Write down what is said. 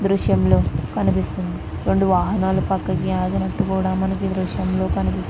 దృశ్యంలో కనిపిస్తుంది. మనకి రెండు వాహనాలు కూడా పక్కకి ఆగినట్టు మనకి ఈ దృశ్యంలో కనిపిస్తు--